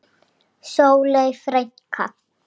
Sóley frænka.